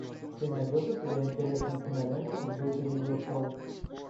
ты найдешь у себя интересную киноленту в духе видеошоу